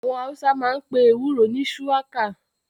Àwọn Hausa máa ń pe ewúro ni "shuwaka "